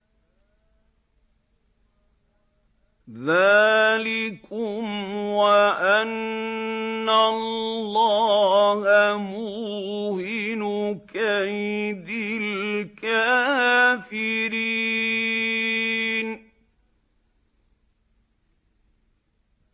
ذَٰلِكُمْ وَأَنَّ اللَّهَ مُوهِنُ كَيْدِ الْكَافِرِينَ